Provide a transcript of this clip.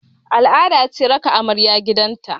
Al'ada ce raka amarya gidan ta